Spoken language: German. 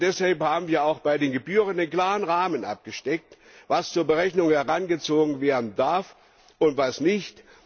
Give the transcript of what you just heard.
Deshalb haben wir auch bei den Gebühren einen klaren Rahmen dafür abgesteckt, was zur Berechnung herangezogen werden darf und was nicht.